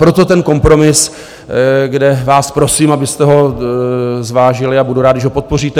Proto ten kompromis, kde vás prosím, abyste ho zvážili, a budu rád, když ho podpoříte.